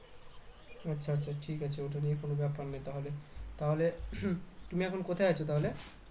আচ্ছা আচ্ছা ঠিক আছে ওটা নিয়ে কোনো ব্যাপার নেই তাহলে তাহলে তুমি এখন কোথায় আছ তাহলে